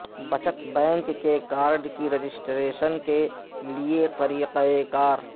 بچت بینک کے کارڈ کی رجسٹریشن کے لئے طریقہ کار